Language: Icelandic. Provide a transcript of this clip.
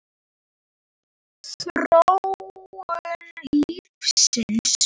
Þróun lífsins